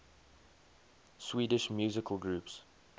swedish musical groups